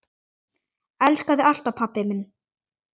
Elska þig alltaf, pabbi minn.